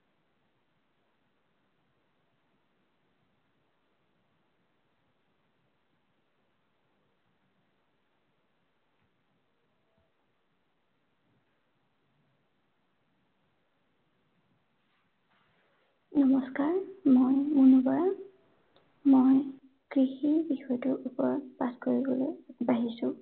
নমস্কাৰ, মই মুনমী বৰা। মই কৃষি বিষয়টোৰ ওপৰত পাঠ কৰিবলৈ আগবাঢ়িছো।